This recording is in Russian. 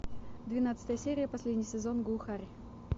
двенадцатая серия последний сезон глухарь